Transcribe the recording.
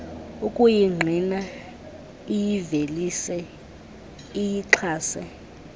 ukuyingqina iyivelise iyixhase